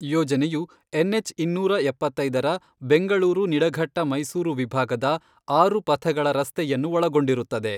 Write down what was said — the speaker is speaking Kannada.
ಯೋಜನೆಯು ಎನ್ ಹೆಚ್ ಇನ್ನೂರ ಎಪ್ಪತ್ತೈದರ ಬೆಂಗಳೂರು ನಿಡಘಟ್ಟ ಮೈಸೂರು ವಿಭಾಗದ ಆರು ಪಥಗಳ ರಸ್ತೆಯನ್ನು ಒಳಗೊಂಡಿರುತ್ತದೆ.